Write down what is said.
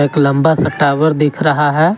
एक लंबा सा टॉवर दिख रहा है।